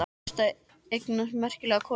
Þá hlaustu að eignast merkilega konu.